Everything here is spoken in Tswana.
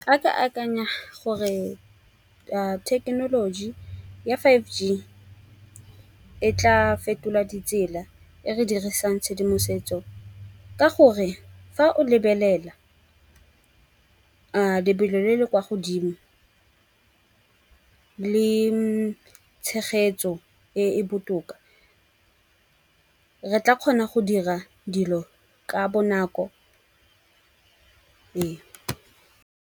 A ka akanya gore thekenoloji ya five G e tla fetola ditsela e re dirisang tshedimosetso. Ka gore fa o lebelela a lebelo le le kwa godimo le tshegetso e e botoka re tla kgona go dira dilo ka bonako.